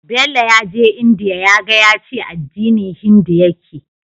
Bello yaje india yaga yace addini hindu yake